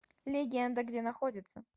легенда где находится